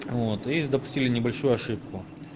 вот и допустили небольшую ошибку